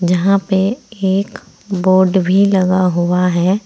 यहां पे एक बोर्ड भी लगा हुआ है।